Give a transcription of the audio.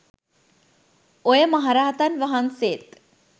ඔය මහරහතන් වහන්සේත්